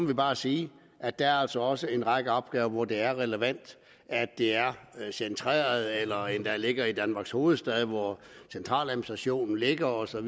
vi bare sige at der altså også er en række opgaver hvor det er relevant at det er centreret eller endda ligger i danmarks hovedstad hvor centraladministrationen ligger og så